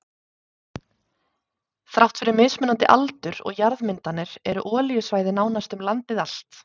Þrátt fyrir mismunandi aldur og jarðmyndanir eru olíusvæði nánast um landið allt.